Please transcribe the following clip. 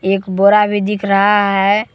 एक बुरा भी दिख रहा है।